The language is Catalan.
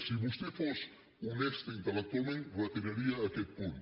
si vostè fos honesta intel·lectualment reti·raria aquest punt